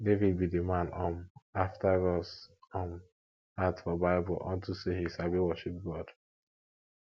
david be the man um after gods um heart for bible unto say he sabi worship god